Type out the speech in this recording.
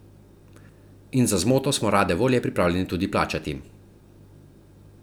In za zmoto smo rade volje pripravljeni tudi plačati.